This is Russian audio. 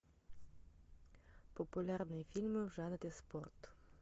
популярные фильмы в жанре спорт